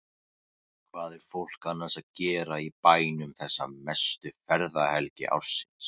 Hvað er fólk annars að gera í bænum þessa mestu ferðahelgi ársins?